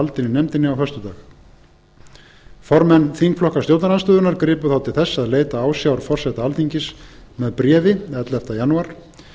í nefndinni á föstudag formenn þingflokka stjórnarandstöðunnar gripu þá til þess að leita ásjár forseta alþingis með bréfi ellefta janúar